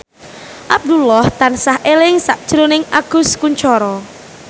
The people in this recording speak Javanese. Abdullah tansah eling sakjroning Agus Kuncoro